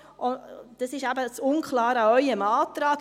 Das ist eben das unklare an Ihrem Antrag.